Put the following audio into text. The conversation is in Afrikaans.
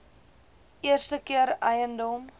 eerste keer eiendom